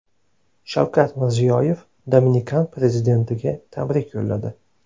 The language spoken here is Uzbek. Shavkat Mirziyoyev Dominikan prezidentiga tabrik yo‘lladi.